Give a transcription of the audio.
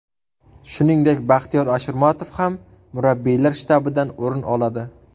Shuningdek, Baxtiyor Ashurmatov ham murabbiylar shtabidan o‘rin oladi.